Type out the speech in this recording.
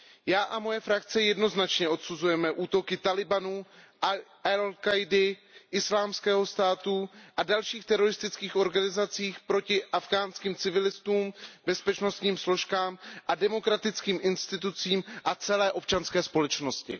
Já a moje frakce jednoznačně odsuzujeme útoky Tálibánu, Al Káidy, Islámského státu a dalších teroristických organizací proti afghánským civilistům, bezpečnostním složkám a demokratickým institucím a celé občanské společnosti.